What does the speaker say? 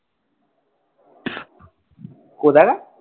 কোথাকার?